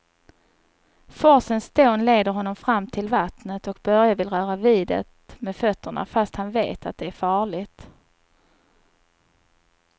Forsens dån leder honom fram till vattnet och Börje vill röra vid det med fötterna, fast han vet att det är farligt.